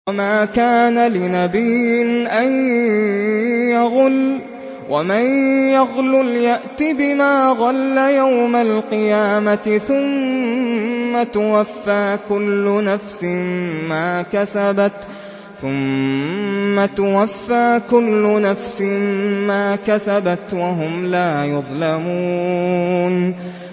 وَمَا كَانَ لِنَبِيٍّ أَن يَغُلَّ ۚ وَمَن يَغْلُلْ يَأْتِ بِمَا غَلَّ يَوْمَ الْقِيَامَةِ ۚ ثُمَّ تُوَفَّىٰ كُلُّ نَفْسٍ مَّا كَسَبَتْ وَهُمْ لَا يُظْلَمُونَ